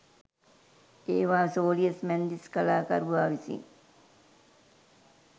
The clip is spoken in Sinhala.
ඒවා සෝලියස් මැන්දිස් කලාකරුවා විසින්